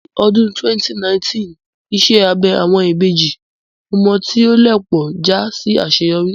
Ní ọdún 2019, iṣẹ́ abẹ àwọn ìbejì ọmọ tí ó lẹ̀ pọ̀ já sí àṣeyọrí